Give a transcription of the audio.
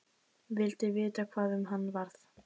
Vildi vita hvað um hana varð.